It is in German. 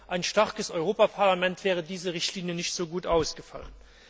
Ohne ein starkes Europaparlament wäre diese Richtlinie nicht so gut ausgefallen!